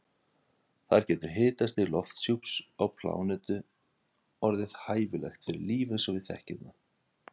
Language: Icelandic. Þar getur hitastig lofthjúps á plánetu orðið hæfilegt fyrir líf eins og við þekkjum það.